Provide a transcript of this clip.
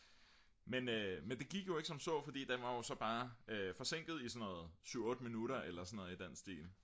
men det gik jo ikke som så fordi den var jo så bare forsinket i 7-8 minutter eller noget i den stil